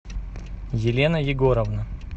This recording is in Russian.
елена егоровна